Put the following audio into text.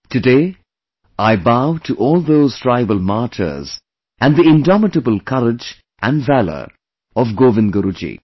Today I bow to all those tribal martyrs and the indomitable courage and valor of Govind Guru ji